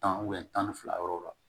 Tan tan ni fila yɔrɔw la